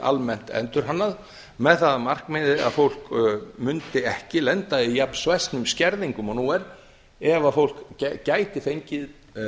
almennt endurhannað með það að markmiði að fólk mundi ekki lenda í jafn svæsnum skerðingum og nú er ef fólk gæti fengið